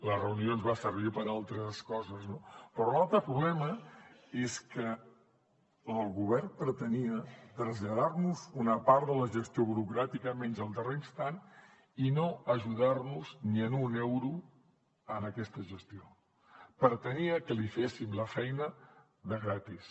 la reunió ens va servir per a altres coses no però l’altre problema és que el govern pretenia traslladar nos una part de la gestió burocràtica menys el darrer instant i no ajudar nos ni en un euro en aquesta gestió pretenia que li féssim la feina gratis